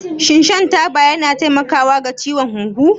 Shin shan taba yana taimakawa ga ciwon huhu?